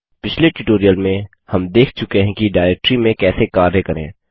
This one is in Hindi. पिछले ट्यूटोरियल में हम देख चुके हैं कि डाइरेक्टरी में कैसे कार्य करें